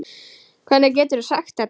Hvernig geturðu sagt þetta?